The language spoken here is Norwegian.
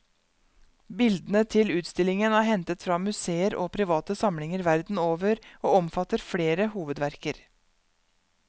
Bildene til utstillingen er hentet fra museer og private samlinger verden over, og omfatter flere hovedverker.